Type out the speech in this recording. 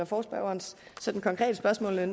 forespørgerens konkrete spørgsmål og